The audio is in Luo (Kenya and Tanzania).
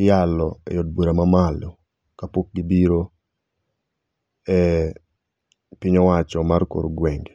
iyalo e od bura mamalo kapok gibiro e piny owacho mar kor gwenge